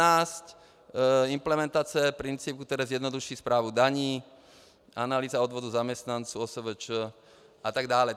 A 2016 implementace principů, které zjednoduší správu daní, analýza odvodu zaměstnanců OSVČ a tak dále.